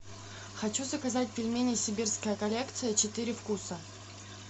хочу заказать пельмени сибирская коллекция четыре вкуса